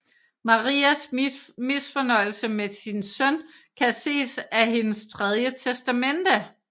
Marias misfornøjelse med sin søn kan ses af hendes tredje testamente